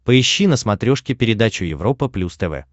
поищи на смотрешке передачу европа плюс тв